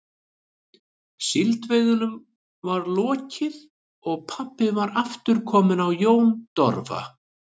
Síldveiðunum var lokið og pabbi var aftur kominn á Jón Dofra.